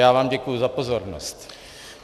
Já vám děkuji za pozornost.